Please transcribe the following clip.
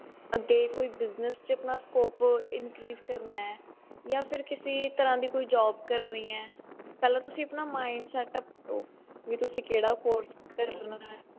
ਅੱਗੇ ਕੋਈ business ਚ ਆਪਣਾ scope increase ਕਰਨਾ ਹੈ ਜਾ ਫਿਰ ਕਿਸੀ ਤਰ੍ਹਾਂ ਦੀ job ਕਰਨੀ ਹੈ ਪਹਿਲਾ ਤੁਸੀਂ ਆਪਣਾ mind setup ਕਰੋ ਵੀ ਤੁਸੀਂ ਕਿਹੜਾ course ਕਰਨਾ ਐ